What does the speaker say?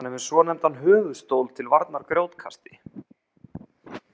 Hann er með svonefndan höfuðstól til varnar grjótkasti.